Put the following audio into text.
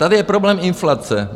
Tady je problém inflace.